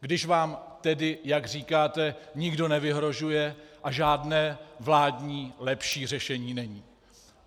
Když vám tedy, jak říkáte, nikdo nevyhrožuje a žádné vládní lepší řešení není?